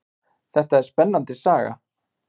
Þetta er spennandi saga.